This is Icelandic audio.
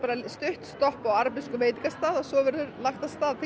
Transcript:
stutt stopp á arabískum veitingastað og svo verður lagt af stað til